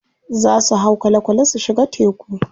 Za su hau kwale kwale su shiga teku.